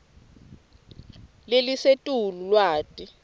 lelisetulu lwati